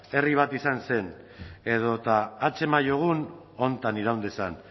herri bat izan zen edota hats emaiogun hontan iraun dezan